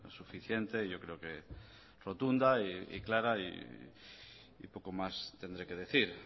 suficiente yo creo que rotunda y clara y poco más tendré que decir